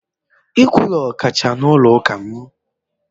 Nkwulu kacha n’ụlọ ụka m.